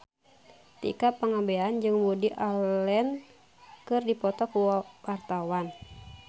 Tika Pangabean jeung Woody Allen keur dipoto ku wartawan